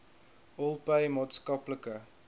all pay maatskaplike